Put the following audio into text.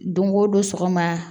Don o don sɔgɔma